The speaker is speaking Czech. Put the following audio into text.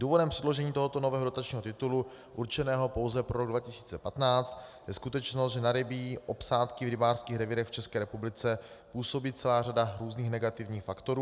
Důvodem předložení tohoto nového dotačního titulu určeného pouze pro rok 2015 je skutečnost, že na rybí obsádky v rybářských revírech v České republice působí celá řada různých negativních faktorů.